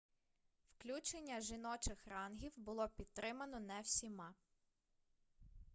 включення жіночих рангів було пітримано не всіма